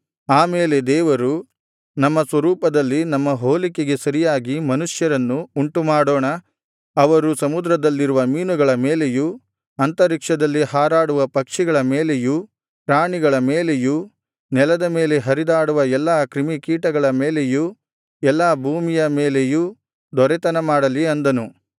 ಆಮೇಲೆ ದೇವರು ನಮ್ಮ ಸ್ವರೂಪದಲ್ಲಿ ನಮ್ಮ ಹೋಲಿಕೆಗೆ ಸರಿಯಾಗಿ ಮನುಷ್ಯರನ್ನು ಉಂಟು ಮಾಡೋಣ ಅವರು ಸಮುದ್ರದಲ್ಲಿರುವ ಮೀನುಗಳ ಮೇಲೆಯೂ ಅಂತರಿಕ್ಷದಲ್ಲಿ ಹಾರಾಡುವ ಪಕ್ಷಿಗಳ ಮೇಲೆಯೂ ಪ್ರಾಣಿಗಳ ಮೇಲೆಯೂ ನೆಲದ ಮೇಲೆ ಹರಿದಾಡುವ ಎಲ್ಲಾ ಕ್ರಿಮಿಕೀಟಗಳ ಮೇಲೆಯೂ ಎಲ್ಲಾ ಭೂಮಿಯ ಮೇಲೆಯೂ ದೊರೆತನಮಾಡಲಿ ಅಂದನು